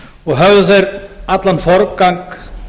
og höfðu þeir allan forgang